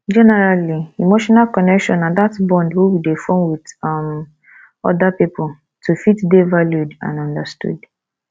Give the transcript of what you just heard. generally emotional connection na that bond wey we dey form with um oda pipo to fit dey valued and understood